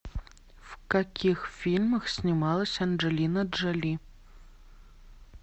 в каких фильмах снималась анджелина джоли